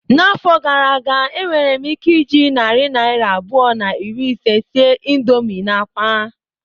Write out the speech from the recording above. N'afọ gara aga, enwere m ike iji narị naira abụọ na iri ise sie indomii na akwa.